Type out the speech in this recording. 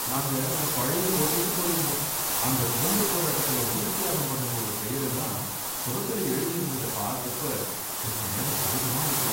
நாங்க அந்த பழைய கோட்டைக்கு போயிருந்தோம், அங்க சுதந்திரப் போராட்டத்துல உயிர்த் தியாகம் பண்ணவங்களோட பெயர் எல்லாம் சுவத்துல எழுதியிருந்தத பார்த்தப்ப கொஞ்ச நேரம் சோகமா ஆயிட்டோம்.